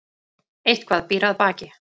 Eitthvað býr að baki